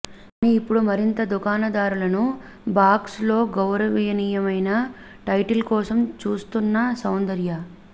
కానీ ఇప్పుడు మరింత దుకాణదారులను బాక్స్ లో గౌరవనీయమైన టైటిల్ కోసం చూస్తున్న సౌందర్య